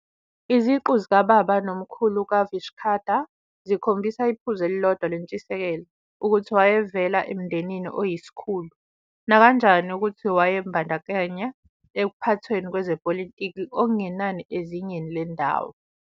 Iziqu zikababa nomkhulu kaVishakhadatta zikhombisa iphuzu elilodwa lentshisekelo- ukuthi wayevela emndenini oyisikhulu, nakanjani ukuthi wayebandakanyeka ekuphathweni kwezepolitiki okungenani ezingeni lendawo.